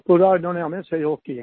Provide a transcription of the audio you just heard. पूरा उन्होंने हमें सहयोग किया